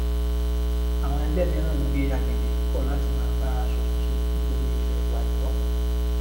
àwọn ẹgbẹ mìíràn ń gbé agbègbè kọ láti máa bá aṣòfin ṣe nítorí ẹrù àìtọ